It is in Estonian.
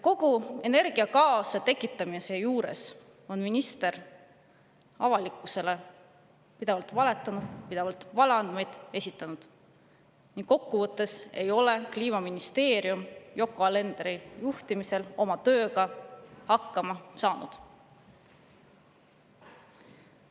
Kogu energiakaose tekitamise juures on minister avalikkusele pidevalt valetanud, pidevalt valeandmeid esitanud ning kokkuvõttes ei ole Kliimaministeerium Yoko Alenderi juhtimisel oma tööga hakkama saanud.